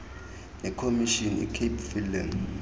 nekomishini icape film